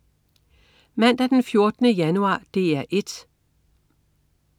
Mandag den 14. januar - DR 1: